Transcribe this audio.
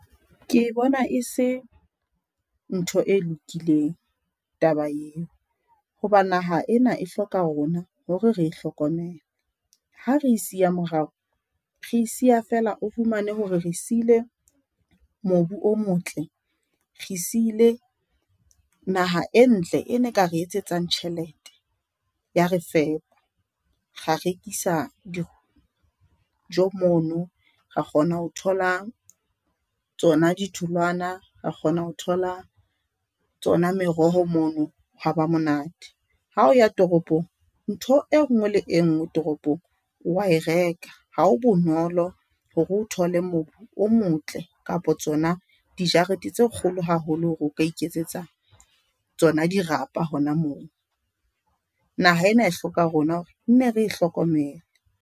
Ke bona e se ntho e lokileng taba eo. Hoba naha ena e hloka rona hore re e hlokomele. Ha re e siya morao re e siya, feela o fumane hore re siile mobu o motle, re siile naha e ntle. E ne ka re etsetsang tjhelete ya re fepa ra rekisa dijo mono. Ra kgona ho thola tsona ditholwana, ra kgona ho thola tsona meroho mono. Ho wa ba monate hao ya toropong, ntho e nngwe le e nngwe toropong wa e reka. Ha ho bonolo hore o thole mobu o motle kapa tsona dijarete tse kgolo haholo hore o ka iketsetsa tsona dirapa hona moo. Naha ena e hloka rona nne re e hlokomele.